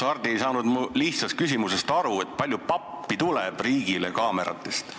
Kahjuks ei saanud Hardi aru mu lihtsast küsimusest, kui palju pappi tuleb riigile kaameratest.